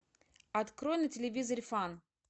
открой на телевизоре фан